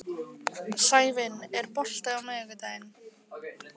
Sævin, er bolti á miðvikudaginn?